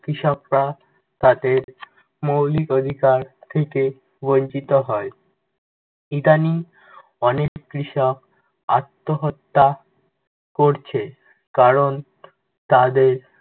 কৃষকরা তাদের মৌলিক অধিকার থেকে বঞ্চিত হয়। ইদানিং, অনেক কৃষক আত্নহত্যা করছে। কারণ তাদের